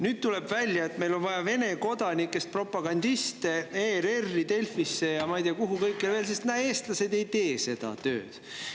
Nüüd tuleb välja, et meil on vaja Vene kodanikest propagandiste ERR-i, Delfisse ja ma ei tea, kuhu veel, sest näe, eestlased ei tee seda tööd.